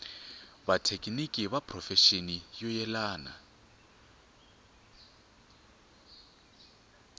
vathekiniki ni vaphurofexinali vo yelana